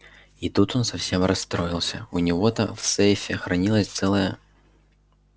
и тут он совсем расстроился у него-то в сейфе хранилось целое